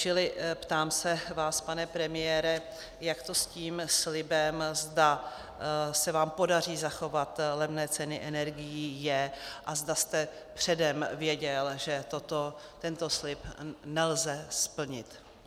Čili ptám se vás, pane premiére, jak to s tím slibem, zda se vám podaří zachovat levné ceny energií, je, a zda jste předem věděl, že tento slib nelze splnit.